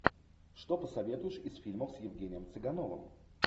что посоветуешь из фильмов с евгением цыгановым